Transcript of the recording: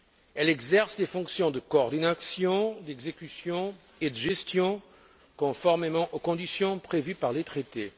Elle exerce des fonctions de coordination, d'exécution et de gestion, conformément aux conditions prévues par les Traités.